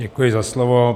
Děkuji za slovo.